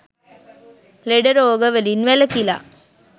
ලෙඩ රෝග වලින් වැළකිලා